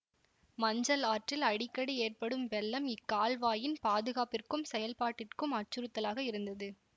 மஞ்சள் ஆற்றில் அடிக்கடி ஏற்படும் வெள்ளம் இக்கால்வாயின் பாதுகாப்பிற்கும் செயல்பாட்டிற்கும் அச்சுறுத்தலாக இருந்தது